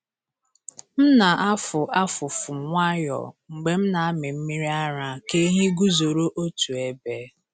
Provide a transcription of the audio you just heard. M na-afụ afụfụ nwayọọ mgbe m na-amị mmiri ara ka ehi guzoro otu ebe.